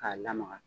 K'a lamaga